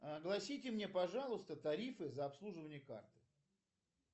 огласите мне пожалуйста тарифы за обслуживание карты